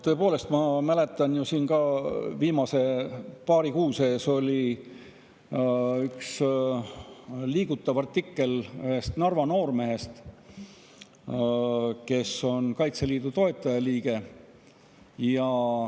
Tõepoolest, ma mäletan, et viimase paari kuu sees oli üks liigutav artikkel ühest Narva noormehest, kes on Kaitseliidu toetajaliige.